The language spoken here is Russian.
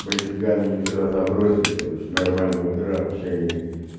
мальчуганы мне вчера забросили короче нормального дрожащая